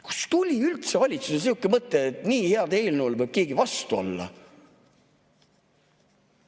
Kust tuli üldse valitsusel niisugune mõte, et nii heale eelnõule võiks keegi vastu olla?